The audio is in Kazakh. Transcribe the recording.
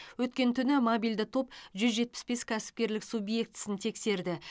өткен түні мобильді топ жүз жетпіс бес кәсіпкерлік субъектісін тексерді